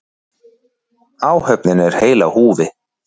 Áhöfnin er heil á húfi